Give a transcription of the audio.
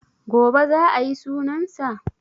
Gobe za a yi sunan sa?